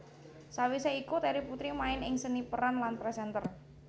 Sawise iku Terry Putri main ing seni peran lan presenter